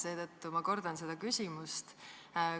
Seetõttu ma kordan oma küsimust.